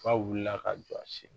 K'a wulila ka jɔ a sen